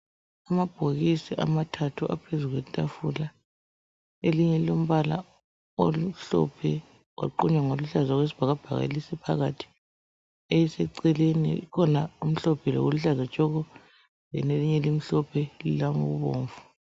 Amabhokisi amathathu aphezulu kwe tafula elinye lilombala omhlophe kwaaqunywa ngoluhlaza okwesibhakabhaka phakathi eliseceleni kukhona okumhlophe lokuluhlaza tshoko then elinye limhlophe lilokubomvu.